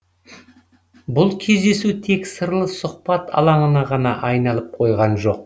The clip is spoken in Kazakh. бұл кездесу тек сырлы сұхбат алаңына ғана айналып қойған жоқ